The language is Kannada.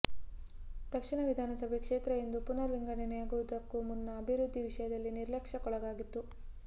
ದಕ್ಷಿಣ ವಿಧಾನಸಭೆ ಕ್ಷೇತ್ರ ಎಂದು ಪುನರ್ ವಿಂಗಡನೆಯಾಗುವುದಕ್ಕೂ ಮುನ್ನ ಅಭಿವೃದ್ಧಿ ವಿಷಯದಲ್ಲಿ ನಿರ್ಲಕ್ಷ್ಯಕ್ಕೊಳಗಾಗಿತ್ತು